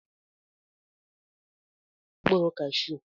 N'ọnwa gara aga, Chioma na Uchenna riri mkpụrụ kashu.